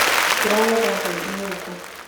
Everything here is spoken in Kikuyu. Tũragetha mbembe gũkũ